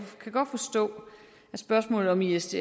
kan godt forstå at spørgsmålet om isds